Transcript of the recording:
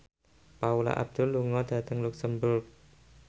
Paula Abdul lunga dhateng luxemburg